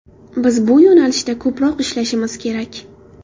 Biz bu yo‘nalishda ko‘proq ishlashimiz kerak.